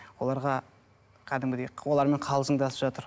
оларға кәдімгідей олармен қалжыңдасып жатыр